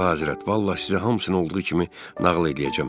Əlahəzrət, vallah sizə hamısını olduğu kimi nağıl eləyəcəm.